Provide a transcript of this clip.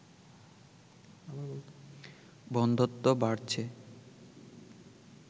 বন্ধ্যত্ব বাড়ছে